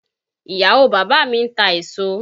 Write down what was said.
Ìyàwó bàbá mi ń ta èso